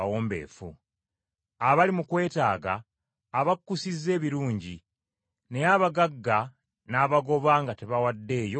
Abali mu kwetaaga abakkusizza ebirungi. Naye abagagga n’abagoba nga tabawaddeeyo kantu.